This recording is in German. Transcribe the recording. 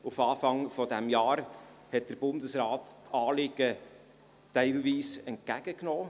Auf Anfang dieses Jahres hat der Bundesrat die Anliegen teilweise umgesetzt.